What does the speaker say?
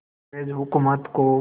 अंग्रेज़ हुकूमत को